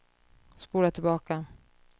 spola tillbaka